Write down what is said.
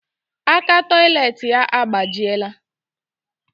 Aka toilet ya agbajiela